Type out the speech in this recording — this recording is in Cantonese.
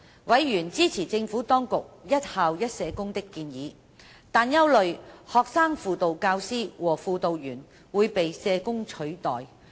委員支持政府當局一校一社工的建議，但憂慮學生輔導教師和輔導員會被社工取代。